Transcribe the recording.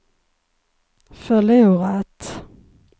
förlorat